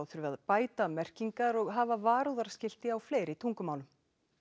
þurfi að bæta merkingar og hafa varúðarskilti á fleiri tungumálum